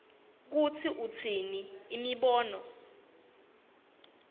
kutsi utsini imibono